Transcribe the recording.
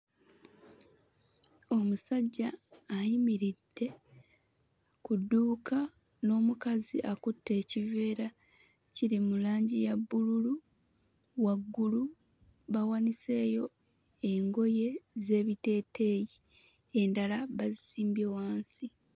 Omusajja ayimiridde ku dduuka n'omukazi akutte ekiveera kiri mu langi ya bbululu, waggulu bawaniseeyo engoye z'ebiteeteeyi endala bazisimbye wansi